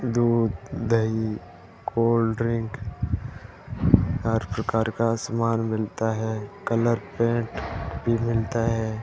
दूध दही cold drink हर प्रकार का सामान मिलता है कलर पेंट भी मिलता है।